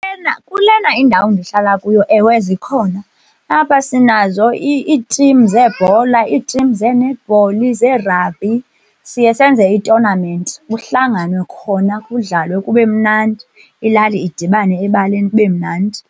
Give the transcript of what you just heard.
Kulena indawo ndihlala kuyo, ewe, zikhona apha sinazo iitimu zeebhola, iitimu zee-netball, zee-rugby siye senze itonamenti, kuhlanganwe khona, kudlalwe kube mnandi, ilali idibane ebaleni kube mnandi.